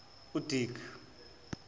udick